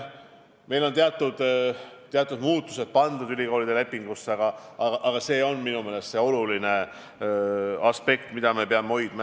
Meil on teatud muutused pandud ülikoolide lepingusse ja see on minu meelest oluline aspekt, mida me peame silmas pidama.